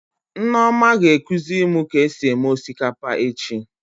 Nneoma ga-ekuzi mụ ka esi eme osikapa echi